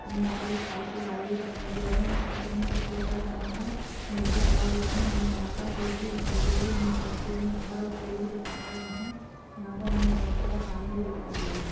हमे यहाँ पर एक साइकिल वाला भी दिखाई दे रहा है वो साइकिल मे कुछ लेकर जा रहा है वो निचे खड़ा हुआ है हमे यहाँ पर रोड़ भी दिखाई दे रही है हमें बहुत दूर में घर और पेड़ भी दिखाई दे रहे यहाँ पर हमे बहुत सारा पानी भी दिखाई दे रहा हैं।